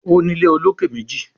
O ní ilé olokè méjì